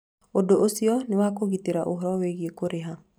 Ũndũ ũcio nĩ wa kũgitĩra ũhoro wĩgiĩ kũrĩha.